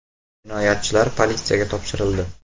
Jinoyatchilar politsiyaga topshirildi.